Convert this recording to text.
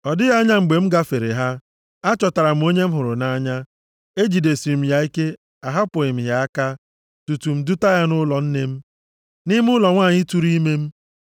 Ọ dịghị anya mgbe m gafere ha, achọtara m onye m hụrụ nʼanya, ejidesiri m ya ike, ahapụghị m ya aka tutu m duta ya nʼụlọ nne m, nʼime ụlọ nwanyị tụrụ ime m.